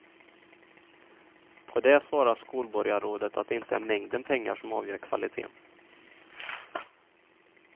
På det svarade skolborgarrådet att det inte är mängden pengar som avgör kvaliteten.